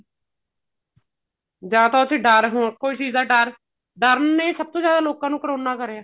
ਜਾਂ ਤਾਂ ਉਸ ਚ ਡਰ ਕੋਈ ਚੀਜ ਦਾ ਡਰ ਡਰ ਨੇ ਸਭ ਤੋਂ ਜਿਆਦਾ ਲੋਕਾਂ ਨੂੰ ਕਰੋਨਾ ਕਰਿਆ